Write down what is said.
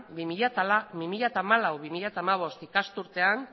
bi mila hamalau bi mila hamabost ikasturtean